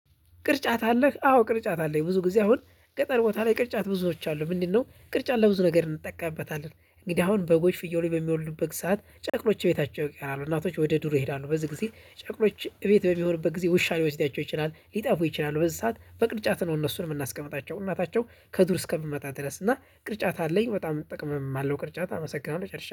ቅርጫት አለህ? አዎ። ቅርጫት አለኝ። ብዙ ጊዜ አሁን ገጠር ቦታ ላይ ቅርጫት ብዙዎች አሉ። ምንድነው? ቅርጫት ለብዙ ነገር እንጠቀምበታለን። እንግዲህ አሁን በጎች ፍየሎች በሚወልዱበት ሰዓት ጨቅሎች ቤታቸው ይቀራሉ እናቶች ወደ ዱር ይሄዳሉ በዚህ ጊዜ ጨቅሎች እቤት በሚሆንበት ጊዜ ውሻ ሊወስዳቸው ይችላል ሊጠፉ ይችላሉ። በዚህ ሰዓት በቅርጫት ነው እነሱን የምናስቀምጣቸው። እናታቸው ከዱር እስከምመጣ ድረስ እና ቅርጫት አለኝ በጣም እጠቀማለሁ። ቅርጫት አመሰግናለሁ ጨርሻለሁ